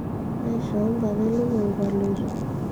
aishoo mpapa elukunku aloito